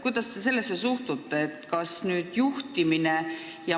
Kuidas te sellesse suhtute?